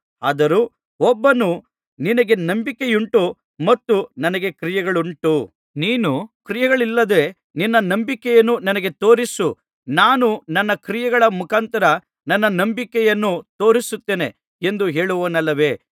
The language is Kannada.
ಆದರೂ ಒಬ್ಬನು ನಿನಗೆ ನಂಬಿಕೆಯುಂಟು ಮತ್ತು ನನಗೆ ಕ್ರಿಯೆಗಳುಂಟು ನೀನು ಕ್ರಿಯೆಗಳಿಲ್ಲದೆ ನಿನ್ನ ನಂಬಿಕೆಯನ್ನು ನನಗೆ ತೋರಿಸು ನಾನು ನನ್ನ ಕ್ರಿಯೆಗಳ ಮುಖಾಂತರ ನನ್ನ ನಂಬಿಕೆಯನ್ನು ತೋರಿಸುತ್ತೇನೆ ಎಂದು ಹೇಳುವನಲ್ಲವೇ